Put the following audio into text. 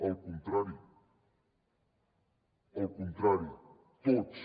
al contrari al contrari tots